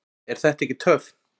Er þetta ekki töff?